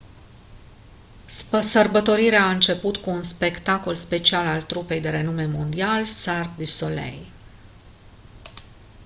sărbătorirea a început cu un spectacol special al trupei de renume mondial cirque du soleil